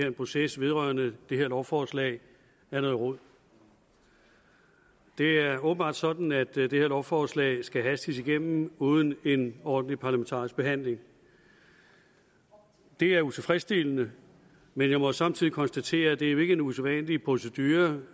en proces vedrørende det her lovforslag er noget rod det er åbenbart sådan at det her lovforslag skal hastes igennem uden en ordentlig parlamentarisk behandling det er utilfredsstillende men jeg må samtidig konstatere at det jo ikke er en usædvanlig procedure